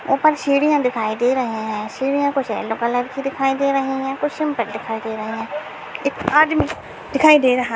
ऊपर सीढ़ियां दिखाई दे रहे है। सीढ़ियां कुछ येल्लो कलर की दिखाई दे रही है कुछ सिंपल दिखाई दे रहे है। एक आदमी दिखाई दे रहा --